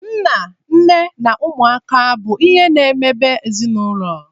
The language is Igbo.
Nna, nne na ụmụaka bụ ihe na emebe ezịnụlo